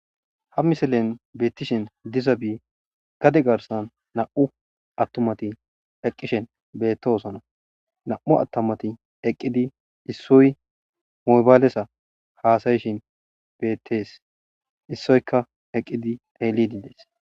Ha misilen beettishin diza bi gade garsan nam'u attumati eqqishen bettoosona nam'u attumati eqqidi issoy mobaalesa haasayishin beettees issoyka eqqidi elidides.